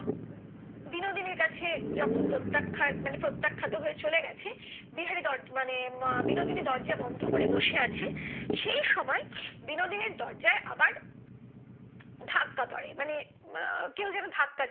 বিনোদিনীর কাছে যখন প্রত্যক্ষ মানে প্রত্যাখ্যাত হয়ে চলে গেছে বিহারি মানে উম বিনোদিনী দরজা বন্ধ করে বসে আছে সেই সময় বিনোদিনীর দরজায় আবার ধাক্কা পড়ে মানে কেউ যেন ধাক্কা দিচ্ছে